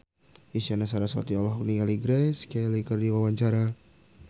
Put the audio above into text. Isyana Sarasvati olohok ningali Grace Kelly keur diwawancara